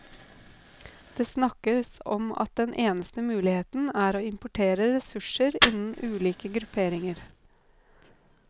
Det snakkes om at den eneste muligheten er å importere ressurser innen ulike grupperinger.